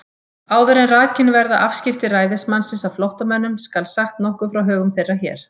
Áður en rakin verða afskipti ræðismannsins af flóttamönnum, skal sagt nokkuð frá högum þeirra hér.